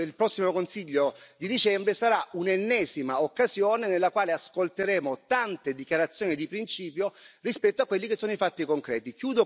prossimo Consiglio di dicembre sarà un'ennesima occasione nella quale ascolteremo tante dichiarazioni di principio rispetto a quelli che sono i fatti concreti.